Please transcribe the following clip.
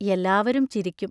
എല്ലാവരും ചിരിക്കും.